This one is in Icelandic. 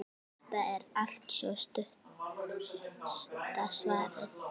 Þetta er altso stutta svarið.